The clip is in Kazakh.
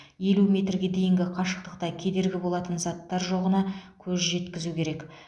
елу метрге дейінгі қашықтықта кедергі болатын заттар жоғына көз жеткізу керек